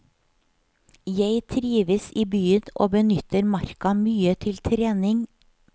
Jeg trives i byen og benytter marka mye til trening.